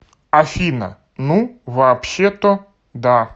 афина ну вообще то да